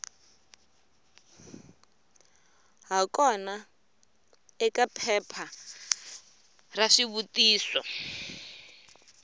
hakona eka phepha ra swivutiso